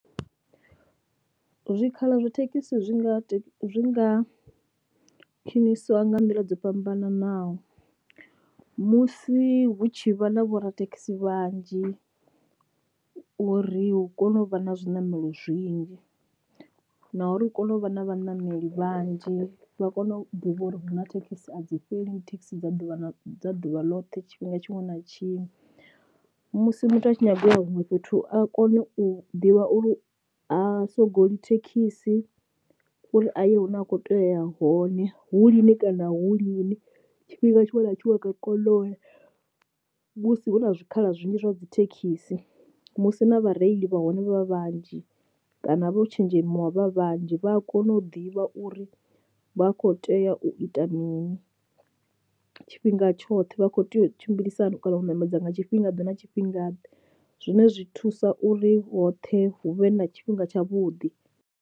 Zwikhala zwa thekhisi zwi nga zwi nga khwinisiwa nga nḓila dzo fhambananaho, musi hu tshi vha na vhorathekhisi vhanzhi uri hu kone u vha na zwiṋamelo zwinzhi na uri hu kone u vha na vhanameli vhanzhi vha kone u ḓivha uri hu na thekhisi a dzi fheli thekhisi dza ḓuvha na ḓuvha ḽoṱhe tshifhinga tshiṅwe na tshiṅwe, musi muthu a tshi nyaga u ya huṅwe fhethu a kone u ḓivha uri a sogoli thekhisi uri a ye hune a kho tea uya hone hu lini kana hu lini tshifhinga tshiṅwe na tshiṅwe nga kono u ya. Musi hu na zwikhala zwinzhi zwa dzi thekhisi musi na vhareili vha hone vha vhanzhi kana vho tshenzhemiwa vha vhanzhi vha a kona u ḓivha uri vha kho tea u i ita mini tshifhinga tshoṱhe, vha kho tea u tshimbilisa hani kana u ṋamedza nga tshifhinga ḓe na tshifhinga ḓe zwine zwi thusa uri hoṱhe hu vhe na tshifhinga tshavhuḓi.